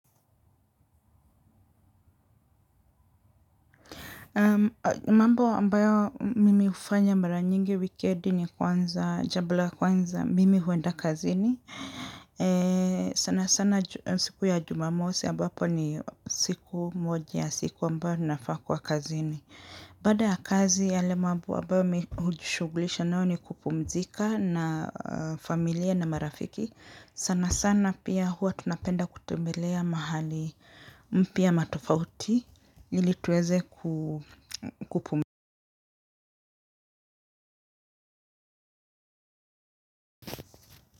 Mambo ambayo nimefanya mara nyingi wikendi ni kwanza jambo la kwanza mimi huenda kazini sana sana siku ya Jumamosi ambapo ni siku moja ya siku ambayo nafaa kuwa kazini baada ya kazi yale mambo ambayo mimi hujishugulisha nayo ni kupumzika na familia na marafiki sana sana pia huwa tunapenda kutembelea mahali mpya na tofauti ili tuweze kupumzika.